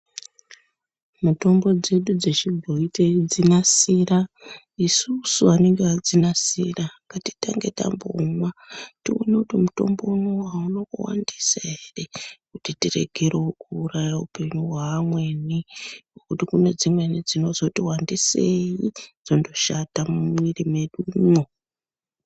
Mutombo dzedu dzechibhoyi teidzinasira isusu anenge adzinasira ngatitange tambomwa toone kuti mutombo unowu auna kuwandisa ere kuti tiregerewo kuuraya upenyu hwamweni ngekuti kune dzimweni dzinozoti wandisei dzondoshata mumwiri mwedumwo.